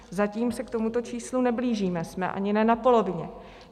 Zatím se k tomuto číslu neblížíme, jsme ani ne na polovině.